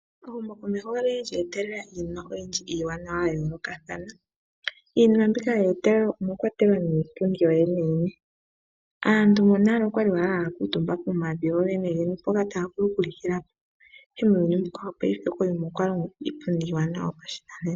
Ehumokomeho olyili lyeetelela iinima oyindji iiwananawa ya yoolokathana. Iinima mbika yeetelelwa omwa kwatelwa nee niipundi yoyene yene. Aantu monale okwali haya kuuntumba pomavi gogene gene mpoka taya vulu okulikilapo, ihe muuyuni wopaife opwa longwa iipundi yopashinanena.